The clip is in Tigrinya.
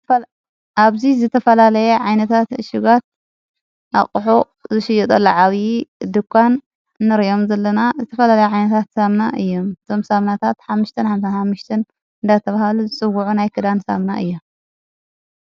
ኣብዙ ዘተፈላለየ ዓይነታት ሽጓት ኣቕሑ ዝሽዮጠሎ ዓብዪ ድኳን ንርዮም ዘለና ዘተፈላለየ ዓይነታት ሳምና እየ ቶም ሳምናታት ሓምሽትን ሓምታ ሓምሽትን እዳ ተብሃሉ ዝጽዉዑ ናይ ክዳን ሳምና እየ።